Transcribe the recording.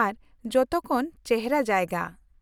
ᱟᱨ ᱡᱚᱛᱚᱠᱷᱚᱱ ᱪᱮᱦᱨᱟ ᱡᱟᱭᱜᱟ ᱾